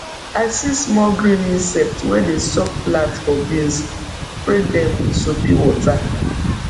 i see small green insect wey dey suck plant for beans we spray dem with soapy water